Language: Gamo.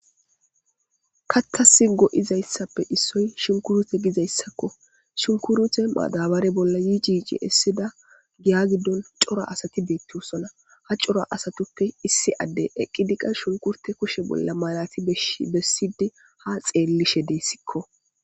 Kathasi go'izaysappe issoy shunkurute gizaysako shunkurute madabare bolla yici yoci essida giya gidon cora asati beetosona ha asatupe qase isdi adey eqidi shunkurjute bollaalati besidi ha xeelishe desiko